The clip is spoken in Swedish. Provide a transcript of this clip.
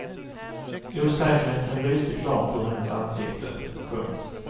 Osäkerheten lyste klart ur hennes ansikte. punkt